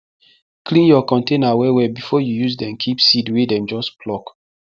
clean your container well well before you use dem keep seed wey dem just pluck